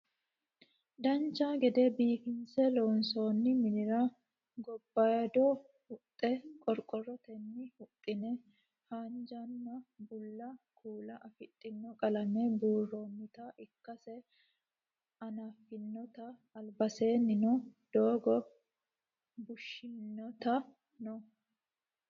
dancha gede biifinse loonsoonni minira gobaayidosi huxxa qorqorrotenni huxxine haanjanna bulla kuula afidhino qalame buurroonnita ikkase anafnnite albasiinnino doogo bushshunniti no